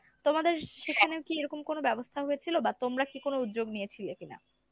তোমাদের সেখানেও কী এরকম কোনো ব্যবস্থা হয়েছিল ? বা তোমরা কী কোনো উদ্যোগ নিয়েছিলে কিনা?